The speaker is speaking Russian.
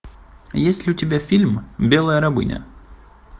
есть ли у тебя фильм белая рабыня